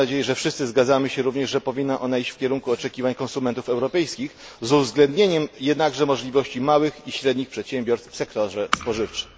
Mam nadzieję, że wszyscy zgadzamy się również, że powinna ona iść w kierunku oczekiwań konsumentów europejskich z uwzględnieniem jednakże możliwości małych i średnich przedsiębiorstw w sektorze spożywczym.